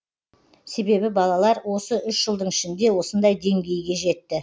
себебі балалар осы үш жылдың ішінде осындай деңгейге жетті